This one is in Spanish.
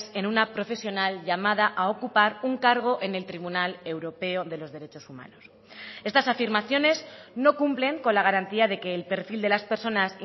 en una profesional llamada a ocupar un cargo en el tribunal europeo de los derechos humanos estas afirmaciones no cumplen con la garantía de que el perfil de las personas